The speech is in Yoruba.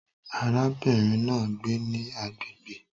Arábìnrin náà ń gbé ní agbègbè